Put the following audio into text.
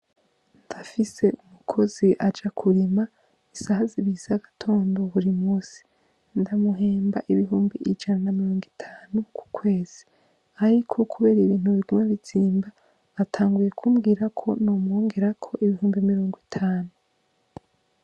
Ndafise umukozi aja kurima isaha zibiri z'agatondo buri munsi. Ndamuhemba ibihumbi ijana na mirongo itanu ku kwezi. Ariko kubera ibintu biguma bizimba, atanguye kumbwira ko nomwongerako ibihumbi mirongo itanu.